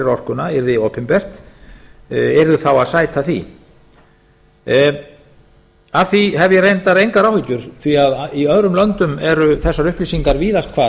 orkuna yrði opinbert yrðu þá að sæta því af því hef ég reyndar engar áhyggjur af því að í öðrum löndum eru þessar upplýsingar víðast hvar